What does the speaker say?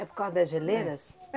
É por causa das geleiras?